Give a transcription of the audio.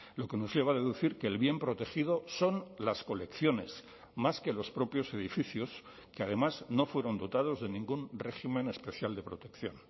lo que nos lleva a deducir que el bien protegido son las colecciones más que los propios edificios que además no fueron dotados de ningún régimen especial de protección